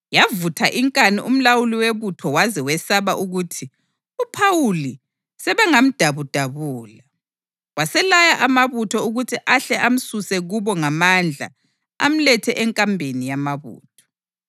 Yavutha inkani umlawuli webutho waze wesaba ukuthi uPhawuli sebengamdabudabula. Waselaya amabutho ukuthi ahle amsuse kubo ngamandla amlethe enkambeni yamabutho.